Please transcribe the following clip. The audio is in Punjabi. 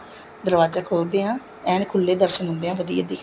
ਦਰਵਾਜਾ ਖੋਲ ਦੇ ਹਾਂ ਐਨ ਖੁੱਲੇ ਦਰਸ਼ਨ ਹੁੰਦੇ ਹੈ ਵਧੀਆ